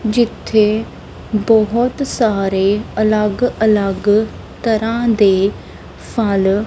ਜਿੱਥੇ ਬਹੁਤ ਸਾਰੇ ਅਲੱਗ ਅਲੱਗ ਤਰ੍ਹਾਂ ਦੇ ਫਲ--